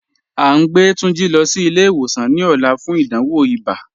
A ǹ gbẹ Tunjí lọ sí ilẹ̀-ìwòsàn ní òlà fún ìdánwò ìbá